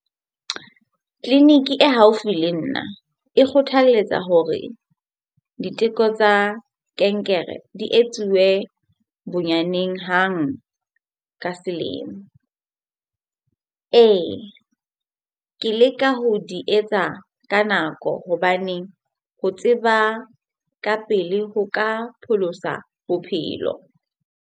Tleliniki e haufi le nna e kgothalletsa hore diteko tsa kankere di etsuwe bonyaneng hang ka selemo. Ee, ke leka ho di etsa ka nako hobaneng ho tseba ka pele ho ka pholosa bophelo.